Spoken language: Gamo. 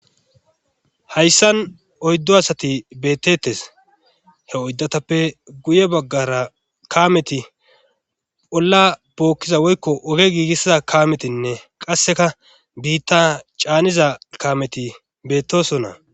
Hayssan oyddo asati beettettes he oyddatappe guye baggara kaameti olla bookkiza woykko oge giigissida kametinne qasseka biitta caaniza kameti beettoson na.